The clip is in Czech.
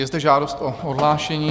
Je zde žádost o odhlášení?